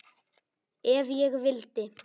Ef ég vildi.